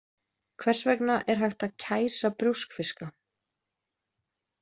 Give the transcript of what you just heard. Hvers vegna er hægt að kæsa brjóskfiska.